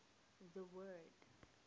the word